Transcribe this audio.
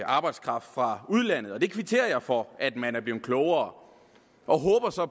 arbejdskraft fra udlandet og jeg kvitterer for at man er blevet klogere og håber så